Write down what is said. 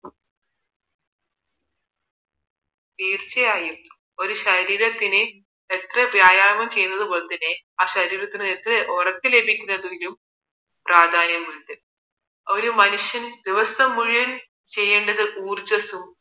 തീർച്ചയായും ഒരു ശരീരത്തിന് എത്ര വ്യായാമം ചെയ്യുന്നത് പോലെ തന്നെ ആ ശരീരത്തിൽ എത്ര ഉറക്ക ലഭിക്കുന്നതിലും പ്രാധാന്യമുണ്ട് ഒരു മനുഷ്യൻ ദിവസം മുഴുവന് ചെയ്യേണ്ടത് ഊർജസ്സും